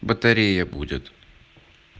батарея будет